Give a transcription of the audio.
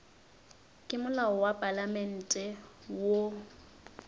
ke molao wa palamente wo